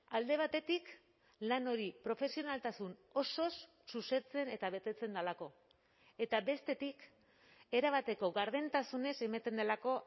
alde batetik lan hori profesionaltasun osoz zuzentzen eta betetzen delako eta bestetik erabateko gardentasunez ematen delako